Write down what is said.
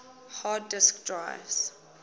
hard disk drives